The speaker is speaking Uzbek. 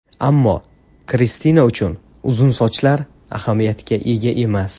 Ammo Kristina uchun uzun sochlar ahamiyatga ega emas.